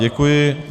Děkuji.